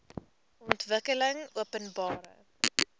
ontwikkelingopenbare